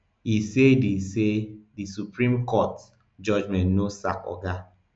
e say di say di supreme court judgment no sack oga